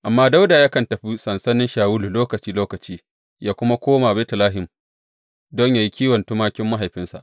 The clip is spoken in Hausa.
Amma Dawuda yakan tafi sansanin Shawulu lokaci lokaci yă kuma koma Betlehem don yă yi kiwon tumakin mahaifinsa.